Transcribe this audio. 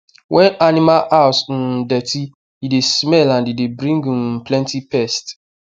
when animal house um dirty e dey smell and e dey bring um plenty pest